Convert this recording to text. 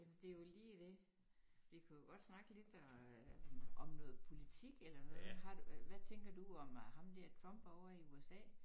Jamen det jo lige dét. Vi kunne jo godt snakke lidt øh om noget politik eller noget har du hvad tænker du om ham der Trump ovre i USA?